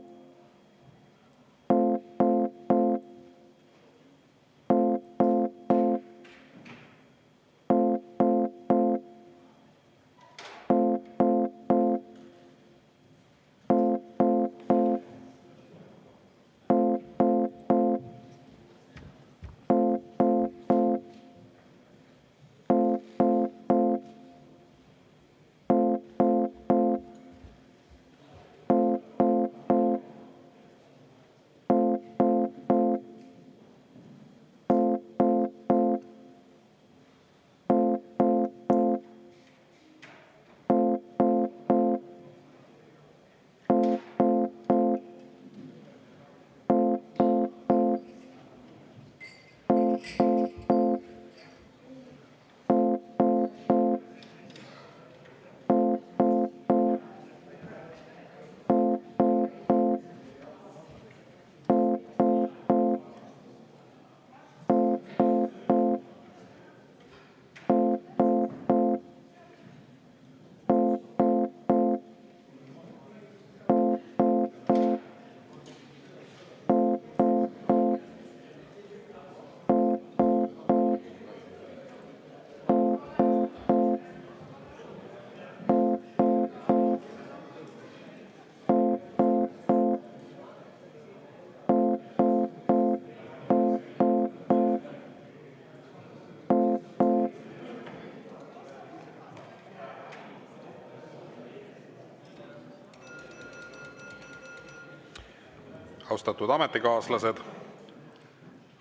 Austatud ametikaaslased!